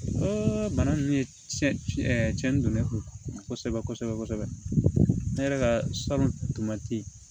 bana ninnu ye cɛnni don ne kunna kosɛbɛ kosɛbɛ ne yɛrɛ ka salon tɛ ye